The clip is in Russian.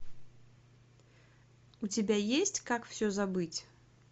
у тебя есть как все забыть